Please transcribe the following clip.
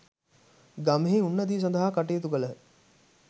ගමෙහි උන්නතිය සඳහා කටයුතු කළහ.